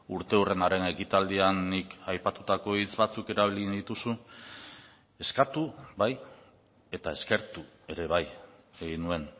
urteurrenaren ekitaldian nik aipatutako hitz batzuk erabili dituzu eskatu bai eta eskertu ere bai egin nuen